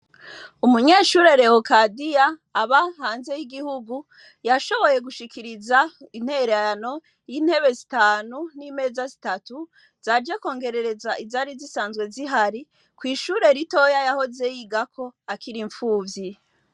Umunyeshure Rehokadiya aba hanze y'igihugu, yashoboye gushikiriza intererano y'intebe zitanu n'imeza zitatu, zaje kwongerereza izari zisanzwe zihari, kw'ishure ritoya yahoze yigako akiri impfuvyi.